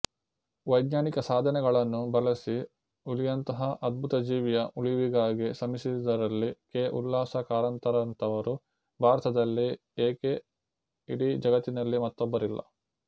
ವೈಜ್ಞಾನಿಕ ಸಾಧನಗಳನ್ನು ಬಳಸಿ ಹುಲಿಯಂತಹ ಅದ್ಭುತಜೀವಿಯ ಉಳಿವಿಗಾಗಿ ಶ್ರಮಿಸಿದವರಲ್ಲಿ ಕೆ ಉಲ್ಲಾಸ ಕಾರಂತರಂಥವರು ಭಾರತದಲ್ಲೇ ಏಕೆ ಇಡಿಯ ಜಗತ್ತಿನಲ್ಲೇ ಮತ್ತೊಬ್ಬರಿಲ್ಲ